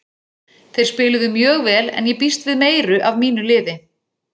Þeir spiluðu mjög vel en ég býst við meiru af mínu liði.